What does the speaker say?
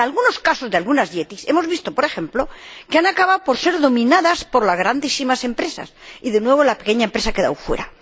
En algunos casos de algunas IETI, hemos visto, por ejemplo, que han acabado por ser dominadas por las grandísimas empresas y, de nuevo, la pequeña empresa ha quedado fuera.